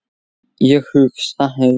Ég hugsa heim.